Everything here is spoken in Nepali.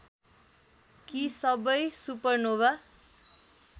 कि सबै सुपरनोवा